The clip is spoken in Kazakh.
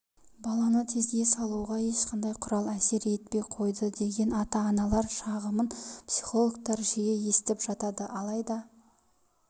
баланы тезге салуға ешқандай құрал әсер етпей қойды деген ата-аналар шағымын психологтар жиі естіп жатады алайда